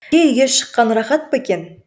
үйге шыққан рахат па екен